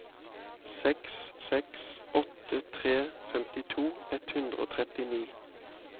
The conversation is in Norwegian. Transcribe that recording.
seks seks åtte tre femtito ett hundre og trettini